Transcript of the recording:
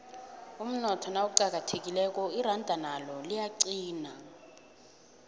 umnotho nawuqinileko iranda nalo liyaqina